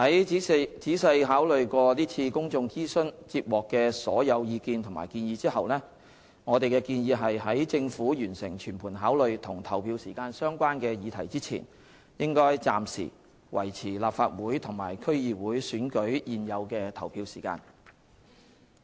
在仔細考慮在是次公眾諮詢接獲的所有意見及建議後，我們建議在政府完成全盤考慮與投票時間相關的議題之前，應暫時維持立法會和區議會選舉現有的投票時間。